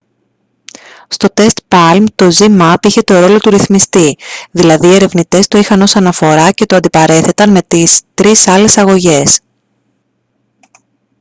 στο τεστ παλμ το zmapp είχε το ρόλο του ρυθμιστή δηλαδή οι ερευνητές το είχαν ως αναφορά και το αντιπαρέθεταν με τις 3 άλλες αγωγές